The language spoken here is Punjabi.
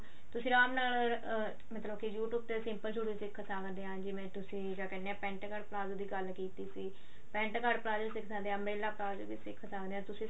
ਗ੍ਤੁਸਿਨ ਰਾਮ ਨਾਲ ਅਹ ਮਤਲਬ ਕੇ you tube ਤੇ simple ਸੂਟ ਵੀ ਸਿੱਖ ਸਕਦੇ ਆ ਜਿਵੇਂ ਤੁਸੀਂ ਕਿਆ ਕਹਿੰਦੇ ਆ pent cart ਪਲਾਜ਼ੋ ਦੀ ਗੱਲ ਕੀਤੀ ਸੀ pent cart ਪਲਾਜ਼ੋ ਵੀ ਸਿੱਖ ਸਕਦੇ ਆ umbrella ਪਲਾਜ਼ੋ ਵੀ ਸਿੱਖ ਸਕਦੇ ਆ ਤੁਸੀਂ